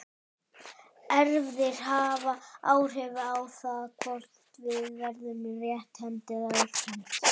Erfðir hafa áhrif á það hvort við verðum rétthent eða örvhent.